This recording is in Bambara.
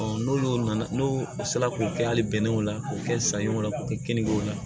n'olu nana n'u sera k'o kɛ hali bɛnɛw la k'u kɛ sanɲɔ k'o kɛ keninke la